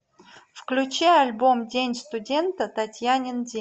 включи альбом день студента татьянин день